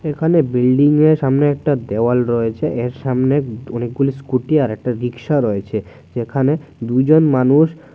ওখানে বিল্ডিংয়ের সামনে একটা দেওয়াল রয়েছে এর সামনে অনেকগুলো স্কুটি আর একটা রিক্সা রয়েছে যেখানে দুইজন মানুষ--